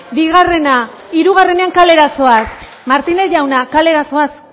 bigarrena hirugarrenean kalera zoaz martínez jauna kalera zoaz